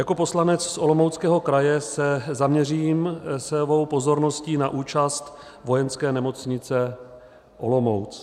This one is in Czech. Jako poslanec z Olomouckého kraje se zaměřím svou pozorností na účast Vojenské nemocnice Olomouc.